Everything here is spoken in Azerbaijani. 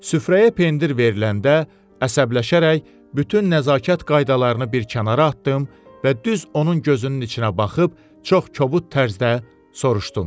Süfrəyə pendir veriləndə əsəbləşərək bütün nəzakət qaydalarını bir kənara atdım və düz onun gözünün içinə baxıb çox kobud tərzdə soruşdum.